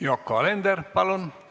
Yoko Alender, palun!